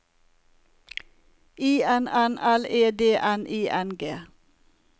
I N N L E D N I N G